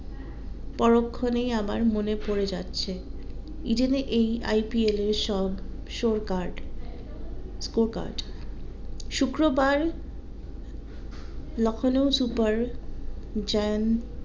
পরোক্ষনে আমার মনে পড়ে যাচ্ছে ইডেনে এই IPL এ সব show part scope আছে শুক্রবার লখনৌ সুপার জায়েন্ট